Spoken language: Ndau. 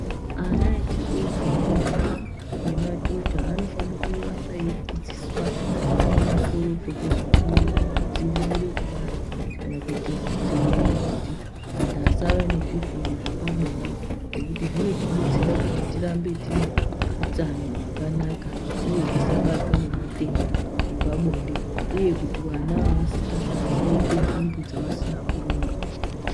Ana echidoko ,ndombi ngemadhodha anofana kuramba eidzidziswa pamusoro pekozvoku dzivirire kubara kana kuti kudzivirire kuti antu asava ngezvirwere zvepabonde ngokuti zvinoti detsera kuti titambe tine utano hwakanaka uye tisabatwa nematenda epabonde uye kuti vana vanasikana vadabate nhumbu dzavasina kuronga.